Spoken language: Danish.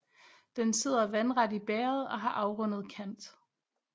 Den sidder vandret i bægeret og har afrundet kant